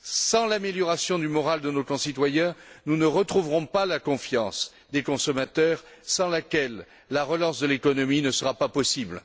Sans l'amélioration du moral de nos concitoyens, nous ne retrouverons pas la confiance des consommateurs, sans laquelle la relance de l'économie ne sera pas possible.